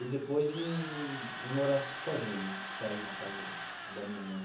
E depois em em morar sozinho, sair da casa da minha mãe.